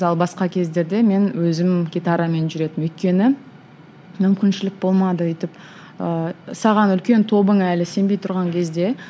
ал басқа кездерде мен өзім гитарамен жүретінмін өйткені мүмкіншілік болмады өйтіп ыыы саған үлкен тобың әлі сенбей тұрған кезде